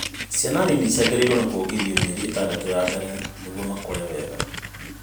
ciana nini ciagĩrĩirwo kuongithio mĩeri itandatũ ya mbere nĩguo makũre wega